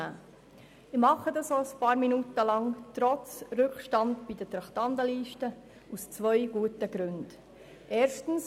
Trotz Rückstand bezüglich der Traktandenliste nehme ich mir aus zwei guten Gründen einige Minuten Zeit dafür.